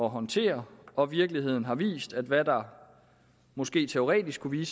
håndtere og virkeligheden har vist at hvad der måske teoretisk kunne